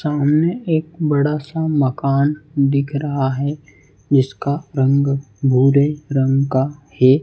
सामने एक बड़ा सा मकान दिख रहा है जिसका रंग भूरे रंग का है।